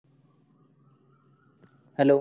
hello